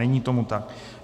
Není tomu tak.